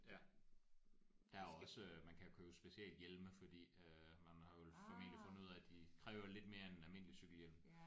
Ja. Der er også man kan købe specialhjelme fordi øh man har vel formentlig fundet ud af de kræver lidt mere end en almindelig cykelhjelm